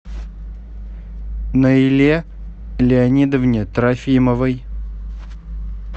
наиле леонидовне трофимовой